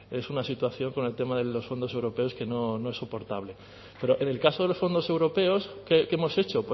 es una situación con el tema de los fondos europeos que no es soportable pero en el caso de los fondos europeos qué hemos hecho